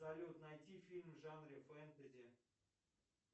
салют найти фильм в жанре фэнтези